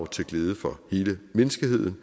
til glæde for hele menneskeheden